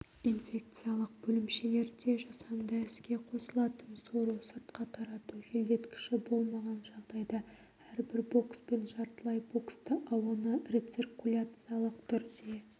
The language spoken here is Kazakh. инфекциялық бөлімшелерде жасанды іске қосылатын сору-сыртқа тарату желдеткіші болмаған жағдайда әрбір бокс пен жартылай боксты ауаны рециркуляциялық түрде